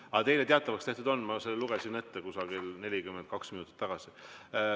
Aga teile teatavaks tehtud on, ma lugesin selle ette umbes 42 minutit tagasi.